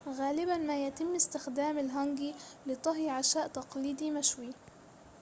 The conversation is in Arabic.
غالباً ما يتم استخدام الهانجي لطهي عشاء تقليدي مشوي